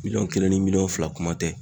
Miliyɔn kelen ni miliyɔn fila kuma tɛ.